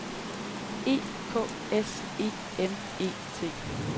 E K S E M E T